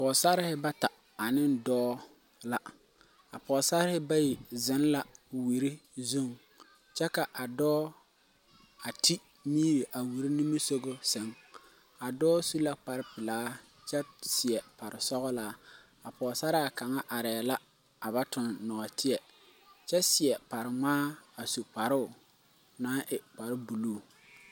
Pogsarrehi bata aneŋ dɔɔ la a poosarrehi bayi zeŋ la wire zuŋ kyɛ ka a dɔɔ a te miri a wire nimisugɔ sɛŋ a dɔɔ su la kparepilaa kyɛ seɛ paresɔglaa a pogsaraa kaŋa areɛɛ la a ba toŋ nɔɔteɛ kyɛ seɛ parengmaa a su kparoo naŋ e kparebluu.